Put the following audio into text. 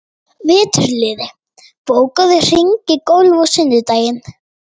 Veturliði, bókaðu hring í golf á sunnudaginn.